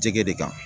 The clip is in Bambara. Jɛgɛ de kan